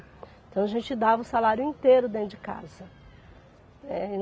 Então a gente dava o salário inteiro dentro de casa. eh